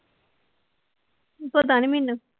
ਪਤਾ ਨੀ ਮੈਨੂੰ